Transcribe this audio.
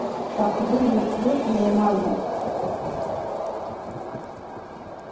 так вы же светлые маги